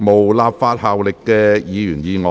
無立法效力的議員議案。